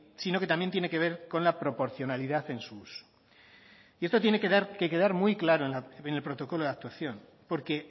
sino que también tiene que ver con la proporcionalidad en su uso y esto tiene que quedar muy claro en el protocolo de actuación porque